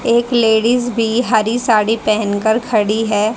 एक लेडीज भी हरी साड़ी पेहनकर खड़ी है।